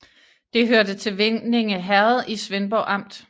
Det hørte til Vindinge Herred i Svendborg Amt